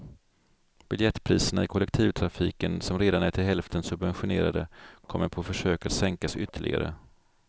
Biljettpriserna i kollektivtrafiken, som redan är till hälften subventionerade, kommer på försök att sänkas ytterligare.